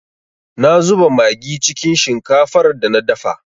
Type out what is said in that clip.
Na zuba magi cikin shinkafar da na dafa.